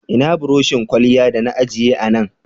Ina buroshin kwalya da na ajiye a Nan?0